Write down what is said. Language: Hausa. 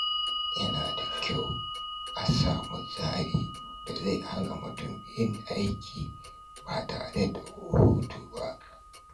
Yana da kyau a samu tsarin da zai hana mutum yin aiki ba tare da hutu ba.